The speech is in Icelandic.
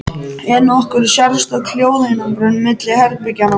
En er nokkur sérstök hljóðeinangrun milli herbergja?